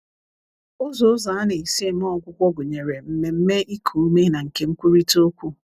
Ụzọ Ụzọ a na-esi eme ọgwụgwọ gụnyere mmemme iku ume na nke nkwurịta okwu.